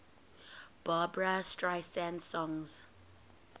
barbra streisand songs